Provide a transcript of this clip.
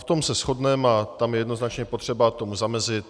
V tom se shodneme a tam je jednoznačně potřeba tomu zamezit.